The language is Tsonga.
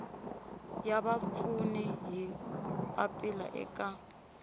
ya vapfuni hi papila eka